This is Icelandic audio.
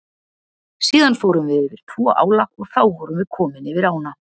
Síðan fórum við yfir tvo ála og þá vorum við komin yfir ána.